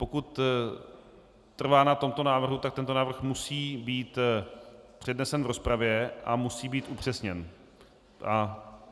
Pokud trvá na tomto návrhu, tak tento návrh musí být přednesen v rozpravě a musí být upřesněn.